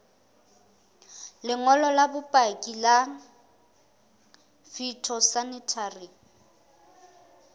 lengolo la bopaki la phytosanitary